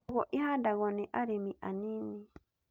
Njũgũ ihandagwo nĩ arĩmi anini